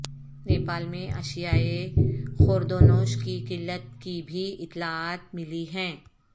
نیپال میں اشیائے خوردونوش کی قلت کی بھی اطلاعات ملی ہیں